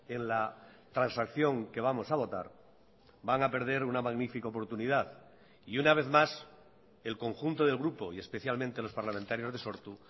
en la transacción que vamos a votar van a perder una magnifica oportunidad y una vez más el conjunto del grupo y especialmente los parlamentarios de sortu